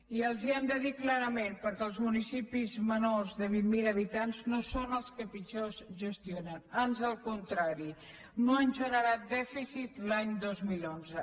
i els ho hem de dir clarament perquè els municipis menors de vint mil habitants no són els que pitjor es gestionen ans al contrari no han generat dèficit l’any dos mil onze